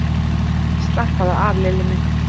Slappaðu af, Lilli minn!